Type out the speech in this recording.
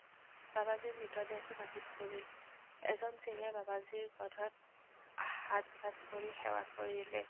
বাবাজীৰ মৃতদেহটো মাটিত পৰিল। এজন সিঙে বাবাজীৰ কান্ধত সাত-পাচ কৰি সেৱা কৰিলে।